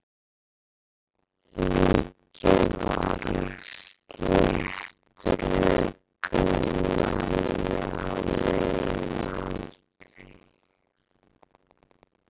Líkið var af sléttrökuðum manni á miðjum aldri.